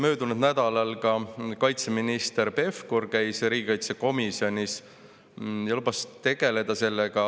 Möödunud nädalal käis ka kaitseminister Pevkur riigikaitsekomisjonis ja lubas sellega tegeleda.